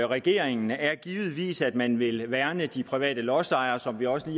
regeringen er givetvis at man vil værne om de private lodsejere som vi også